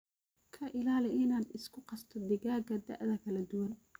ka ilaali inaad isku qasto digaaga daa kala duwan.